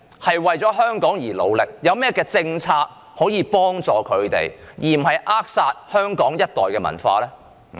他們為香港付出努力，當局有何政策幫助他們，以免扼殺香港一代的文化？